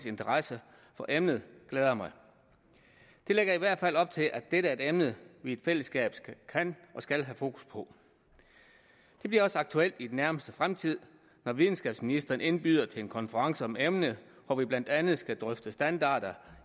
interesse for emnet glæder mig det lægger i hvert fald op til at dette er et emne vi i fællesskab kan og skal have fokus på det bliver også aktuelt i den nærmeste fremtid når videnskabsministeren indbyder til en konference om emnet hvor vi blandt andet skal drøfte standarder